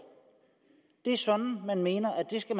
det er sådan man mener at de skal